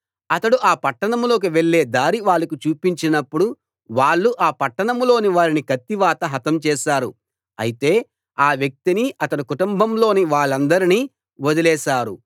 అతడు ఆ పట్టణంలోకి వెళ్ళే దారి వాళ్లకు చూపించినప్పుడు వాళ్ళు ఆ పట్టణంలోని వారిని కత్తివాత హతం చేశారు అయితే ఆ వ్యక్తిని అతని కుటుంబంలోని వాళ్ళందరినీ వదిలేశారు